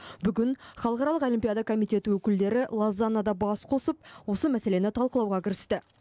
бүгін халықаралық олимпиада комитеті өкілдері лозаннада бас қосып осы мәселені талқылауға кірісті